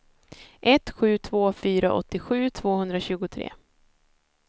ett sju två fyra åttiosju tvåhundratjugotre